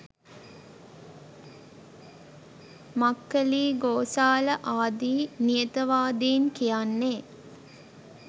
මක්ඛලිගෝසාල ආදී නියතිවාදීන් කියන්නේ